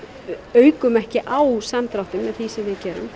aukum ekki á samdráttinn með því sem við gerum